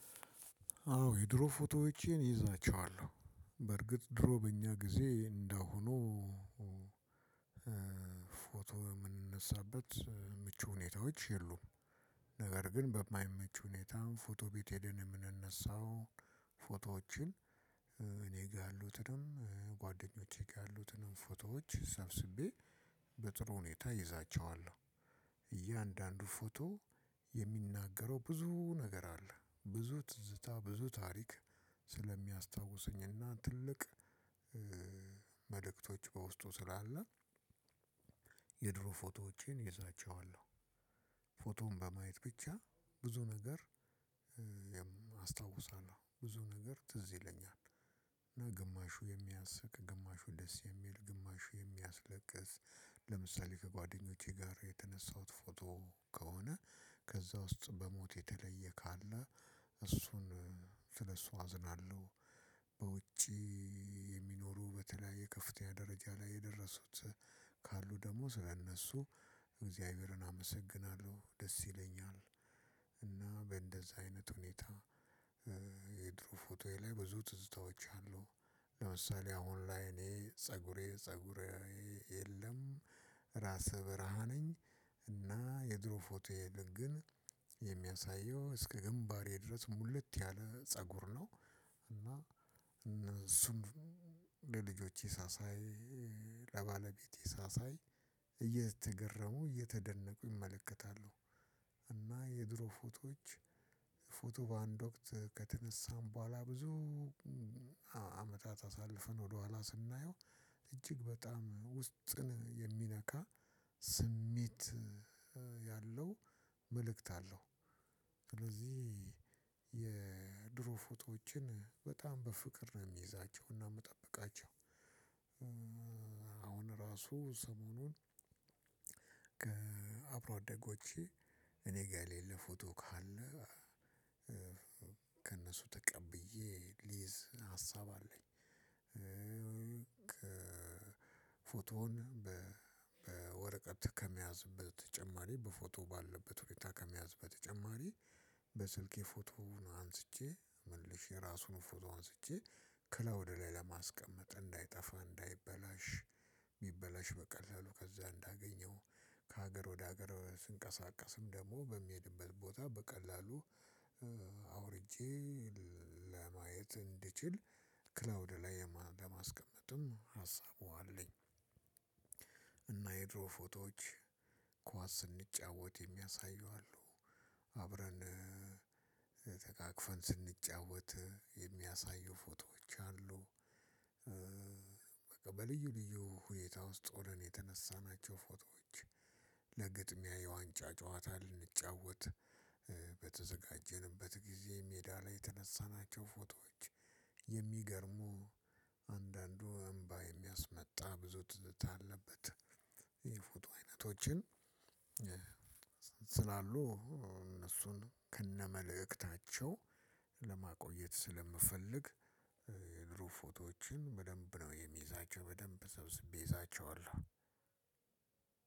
አወ የድሮ ፎቶዎችን እይዛለሁ ፎቶ ምንነሳበት ምቹ ሁኔታዎች የሉም። ነገር ግን በማይመች ሁኔታ ፎቶ ቤት ሄደን የምንነሳው ፎቶዎችን እኔ ጋ ያሉትንም ጓደኞቼ ጋ ያሉትንም ፎቶዎች ሰብስቤ በጥሩ ሁኔታ ይዛቸዋለሁ። እያንዳንዱ ፎቶ የሚናገረው ብዙ ነገር አለ ብዙ ትዝታ ብዙ ታሪክ ስለሚያስታውሰኝና ትልቅ መልክቶች በውስጡ ስላለ የድሮ ፎቶዎቼን ይዛቸዋለሁ። ፎቶን በማየት ብቻ ብዙ ነገር አስታውሳለሁ ብዙ ነገር ትዝ ይለኛል። እና ግማሹ የሚያስቅ ግማሹ ደስ የሚል ግማሹ የሚያስለቅስ። ለምሳሌ ከጓደኞቼ ጋር የተነሳሁት ፎቶ ከሆነ ከዛ ውስጥ በሞት የተለየ ካለ እሱን ስለሱ አዝናለሁ። በውጪ እያንዳንዱ ፎቶ የሚናገረው ብዙ ነገር አለ ብዙ ትዝታ ብዙ ታሪክ ስለሚያስታውሰኝና ትልቅ መልክቶች በውስጡ ስላለ። በእንደዛ አይነት ሁኔታ የድሮ ፎቶዬ ላይ ብዙ ትዝታዎች አሉ። ለምሳሌ አሁን ላይ እኔ ፀጉሬ ፀጉሬ የለም። ራስህ ብርሃ ነኝ እና የድሮ ፎቶ የሄደ ግን የሚያሳየው እስከ ግንባሬ ድረስ ሙሉት ያለ ፀጉር ነው። እና እነሱም ለልጆቼ ሳሳይ ለባለቤቴ ሳሳይ እየተገረሙ እየተደነቁ ይመለከታሉ። እና የድሮ ፎቶዎች ፎቶ በአንድ ወቅት ከተነሳን በኋላ ብዙ አመታት አሳልፍን ወደኋላ ስናየው እጅግ በጣም ውስጥን የሚነካ ስሜት ያለው መልእክት አለው። ስለዚህ የድሮ ፎቶዎችን በጣም በፍቅር ነው የሚይዛቸው እና ምጠብቃቸው። አሁን ራሱ ሰሞኑን ከአብሮ አደጎቼ እኔ ጋ የሌለ ፎቶ ካለ ከእነሱ ተቀብዬ ሊይዝ ሀሳብ አለኝ። ፎቶውን በወረቀት ከመያዝበት በተጨማሪ በፎቶ ባለበት ሁኔታ ከመያዝ በተጨማሪ በስልኬ ፎቶውን አንስቼ መልሼ ራሱን ፎቶ አንስቼ ክላውድ ላይ ለማስቀመጥ እንዳይጠፋ እንዳይበላሽ ቢበላሽ በቀላሉ ከዛ እንዳገኘው ከሀገር ወደ ሀገር ስንቀሳቀስም ደግሞ በሚሄድበት ቦታ በቀላሉ አውርጄ ለማየት እንድችል ክላውድ ላይ በማስቀመጥም ሀሳቡ አለኝ። እና የድሮ ፎቶዎች ኳስ ስንጫወት የሚያሳዩ አሉ። አብረን ተቃቅፈን ስንጫወት የሚያሳዩ ፎቶዎች አሉ። በቃ በልዩ ልዩ ሁኔታ ውስጥ ሆነን የተነሳናቸው ፎቶዎች ለግጥሚያ የዋንጫ ጨዋታ ልንጫወት በተዘጋጀንበት ጊዜ ሜዳ ላይ የተነሳናቸው ፎቶዎች የሚገርሙ አንዳንዱ እምባ የሚያስመጣ ብዙ ትዝታ አለበት። የፎቶ አይነቶችን ስላሉ እነሱን ከነመልእክታቸው ለማቆየት ስለምፈልግ የድሮ ፎቶዎችን በደንብ ነው የሚይዛቸው በደንብ ሰብስቤ ይዛቸዋለሁ።